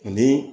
Ni